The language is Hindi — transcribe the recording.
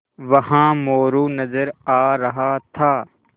वहाँ मोरू नज़र आ रहा था